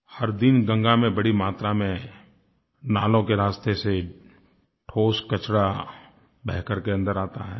हर दिन गंगा में बड़ी मात्रा में नालों के रास्ते से ठोस कचरा बह करके अन्दर आता है